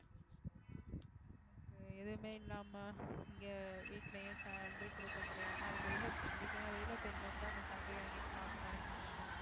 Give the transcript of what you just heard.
ஹம் எதுவுமே இல்லாம இங்க வீட்டுலயே salary குடுக்க முடியாம அதுக்கு வெளியில எங்க வீட்டுல எல்லாம் வெளியில போயிருந்தா கூட அந்த salary வாங்கியிருக்கலாம் அப்படின்னு நெனச்சிட்டு இருப்பாங்க